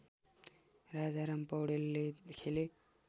राजाराम पौडेलले खेले